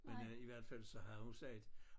Men øh i hvert fald så havde hun sagt